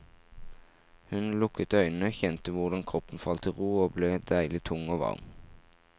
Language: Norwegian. Hun lukket øynene, kjente hvordan kroppen falt til ro, og ble deilig tung og varm.